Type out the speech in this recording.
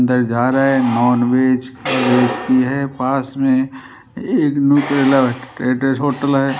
अंदर जा रहा है नॉन वेज रेसिपी है पास में होटल है।